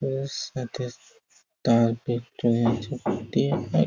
ওর সাথে তার ভিক্টোরিয়া চুক্তিও আর--